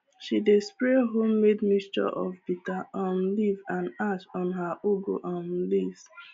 she dey spray homemade mixture of bitter um leaf and ash on her ugu um leaves